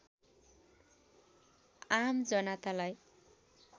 आम जनतालाई